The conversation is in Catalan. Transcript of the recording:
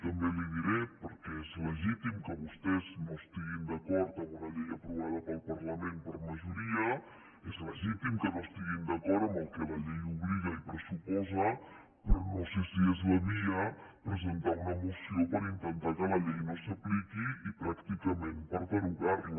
també li ho diré perquè és legítim que vostès no estiguin d’acord en una llei aprovada pel parlament per majoria és legítim que no estiguin d’acord amb el que la llei obliga i pressuposa però no sé si és la via presentar una moció per intentar que la llei no s’apliqui i pràcticament per derogar la